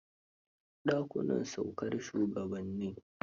Dakunan saukar shugabanni.